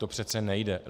To přece nejde.